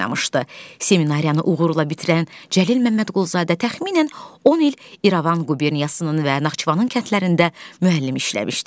Seminariyanı uğurla bitirən Cəlil Məmmədquluzadə təxminən 10 il İrəvan quberniyasının və Naxçıvanın kəndlərində müəllim işləmişdi.